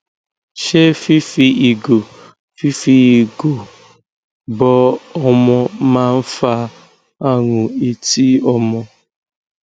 ṣé fífi ìgò fífi ìgò bọ ọmọ maa ń fa àrùn etí ọmọ